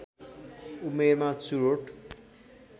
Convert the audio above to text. उमेरमा चुरोट